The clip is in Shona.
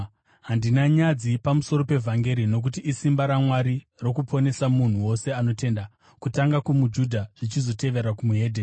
Handina nyadzi pamusoro pevhangeri, nokuti isimba raMwari rokuponesa munhu wose anotenda: Kutanga kumuJudha, zvichizotevera weDzimwe Ndudzi.